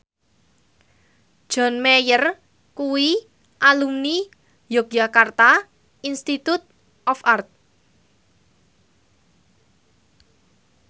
John Mayer kuwi alumni Yogyakarta Institute of Art